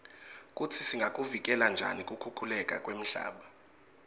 kutsi singakuvikela njani kukhukhuleka kwemhlaba